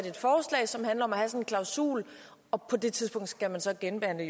et forslag som handler om at have sådan en klausul og på det tidspunkt skal man så genbehandle